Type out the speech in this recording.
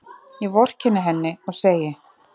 Ég vorkenni henni og segi